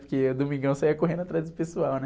Porque o Domingão saía correndo atrás do pessoal, né?